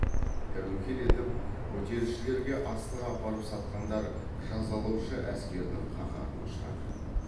тәуекел етіп көтерілісшілерге астық апарып сатқандар жазалаушы әскердің қаһарына ұшырады